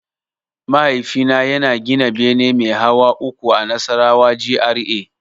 Mahaifina yana gina bene mai hawa uku a Nasarawa GRA.